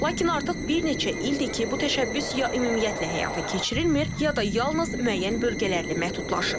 Lakin artıq bir neçə ildir ki, bu təşəbbüs ya ümumiyyətlə həyata keçirilmir, ya da yalnız müəyyən bölgələrlə məhdudlaşır.